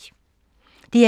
DR2